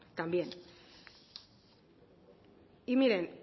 también y miren